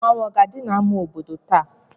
Mmanwu a ga-adi na ama obodo táá